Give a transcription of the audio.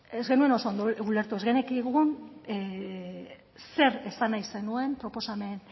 ez genekigun zer esan nahi zenuen proposamen